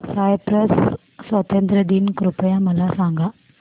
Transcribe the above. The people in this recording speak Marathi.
सायप्रस स्वातंत्र्य दिन कृपया मला सांगा